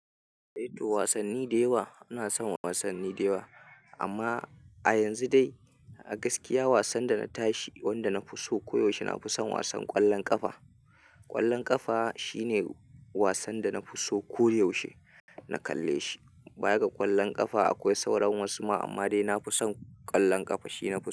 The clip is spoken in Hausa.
Eh to wasanni dewa ina son wasanni dewa amma a yanzu dai a gaskiya wasan da na tashi wanda na fi so koyaushe na fi son wasan ƙwallon ƙafa. Ƙwallon ƙafa shine wasan da na fi so koyaushe na kalle shi. Baya ga ƙwallon ƙafa akwai sauran wasu ma amma dai na fi son ƙwallon ƙafa shi ne na fi so.